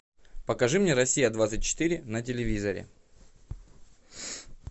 покажи мне россия двадцать четыре на телевизоре